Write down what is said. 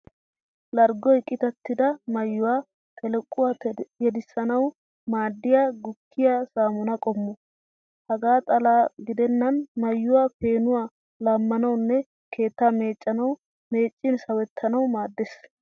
Larggoy qitattida maayyuwa xelequwa tedissanawu maaddiya gukkiyaa saamunay qommo. Hegaa xallan gidennan mayyuwa peenuwa laammanawunne keettaa meeccanawu meeccin sawuttanawu maaddes.